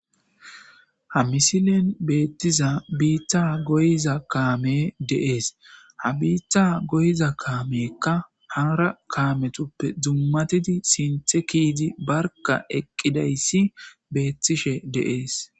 Ha misilen beettiza biitta goyza kaame deees ha biitta goyza kaamekka haara kaametuppe dzummatidi sinthe kiizi barka eqqidayssi beettishe deees.